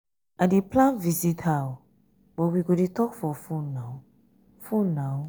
i dey plan visit her but we go dey talk for fone now. fone now.